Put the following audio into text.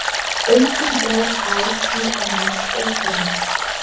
Engum er ár í annars óförum.